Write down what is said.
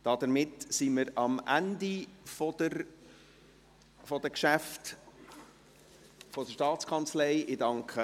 Damit sind wir am Ende der Geschäfte der Staatskanzlei angelangt.